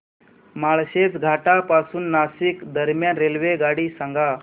माळशेज घाटा पासून नाशिक दरम्यान रेल्वेगाडी सांगा